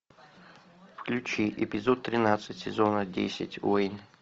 включи эпизод тринадцать сезона десять уэйн